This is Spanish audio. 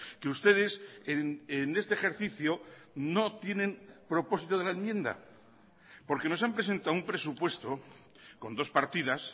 que ustedes en este ejercicio no tienen propósito de la enmienda porque nos han presentado un presupuesto con dos partidas